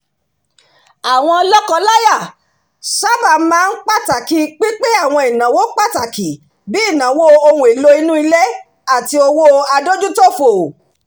àwọn lọ́kọ-láya sáábà máa ń pàtàkì pínpín àwọn ìnáwó pàtàkì bí i ìnáwó ohun èlò inú ilé àti owó adójútòfò